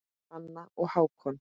Hanna og Hákon.